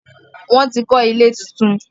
wón tí kò ilé títún.